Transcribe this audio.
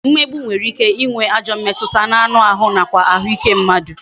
Mmegbu nwere ike ịnwe ajọ mmetụta n'anụ ahụ nakwa ahụike mmadụ